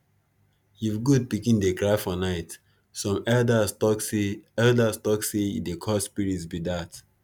if goat pikin dey cry for night some elders tok say elders tok say e dey call spirits be dat